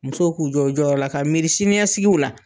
Musow k'u jɔ u jɔyɔrɔ la, ka miiri siniɲɛsigiw la.